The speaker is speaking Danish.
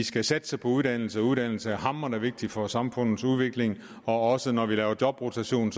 skal satse på uddannelse og at uddannelse er hamrende vigtigt for samfundets udvikling også når vi laver jobrotation